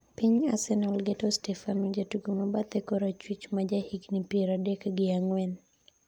Piny Arsenal geto Stefano ,jatugo ma bathe korachwich ma jagigni piero adek gi ang'wen